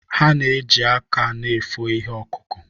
Ha ji aka na efo ihe ọkụkụ.